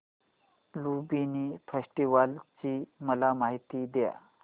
Lumbini festival ची मला माहिती दे